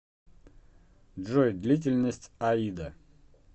джой длительность аида